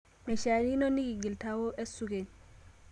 Meishakino nikigil tao esukeny